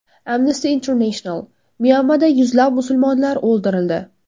Amnesty International: Myanmada yuzlab musulmonlar o‘ldirildi.